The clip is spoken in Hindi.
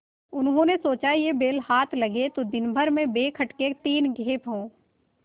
उन्होंने सोचा यह बैल हाथ लगे तो दिनभर में बेखटके तीन खेप हों